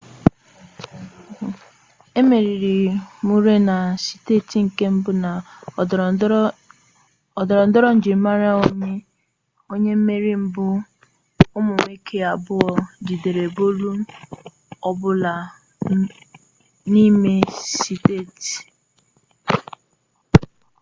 emeriri murray na seti nke mbu na ndorondoro njirimara onye mmeri mgbe umu nwoke abuo jidere bolu ọ bụla n'ime setị